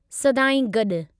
सदाईं गॾु।